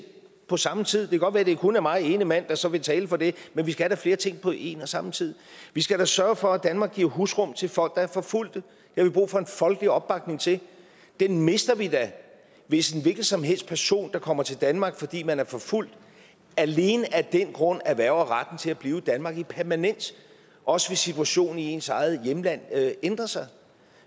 på samme tid det kan godt være det kun er mig ene mand der så vil tale for det men vi skal da flere ting på en og samme tid vi skal sørge for at danmark giver husrum til folk der er forfulgt det har vi brug for en folkelig opbakning til den mister vi da hvis en hvilken som helst person der kommer til danmark fordi man er forfulgt alene af den grund erhverver retten til at blive i danmark permanent også hvis situationen i ens eget hjemland ændrer sig